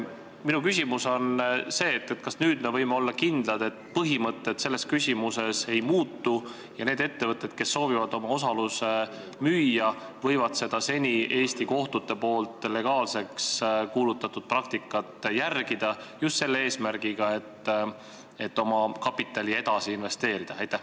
Minu küsimus on see: kas nüüd me võime olla kindlad, et põhimõtted selles küsimuses ei muutu ja need ettevõtted, kes soovivad oma osaluse müüa, võivad seda seni Eesti kohtutes legaalseks kuulutatud praktikat järgida, just selle eesmärgiga, et oma kapitali edasi investeerida?